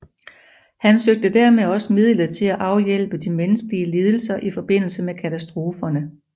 Han søgte dermed også midlet til at afhjælpe de menneskelige lidelser i forbindelse med katastroferne